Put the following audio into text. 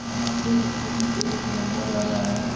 यहाँ पे स्कूटी पे एक लौंडा जा रहा है।